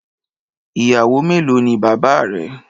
Ìyàwó mélòó ni Baba rẹ?.